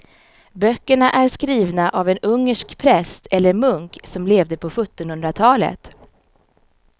Böckerna är skrivna av en ungersk präst eller munk som levde på sjuttonhundratalet.